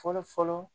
Fɔlɔ fɔlɔ